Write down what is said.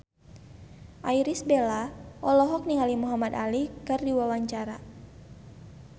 Irish Bella olohok ningali Muhamad Ali keur diwawancara